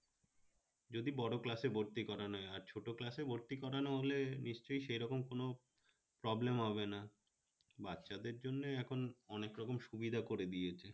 যদি বড় class এ ভর্তি করানো হয় আর ছোট class এ ভর্তি করানো হলে নিশ্চয়ই সেরকম কোন problem হবেনা বাচ্চাদের জন্য এখন অনেক রকম সুবিধা করে দিয়েছে